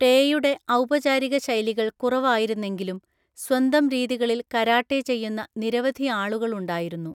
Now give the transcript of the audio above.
ടെയുടെ ഔപചാരിക ശൈലികൾ കുറവായിരുന്നെങ്കിലും സ്വന്തം രീതികളിൽ കരാട്ടെ ചെയ്യുന്ന നിരവധിയാളുകളുണ്ടായിരുന്നു.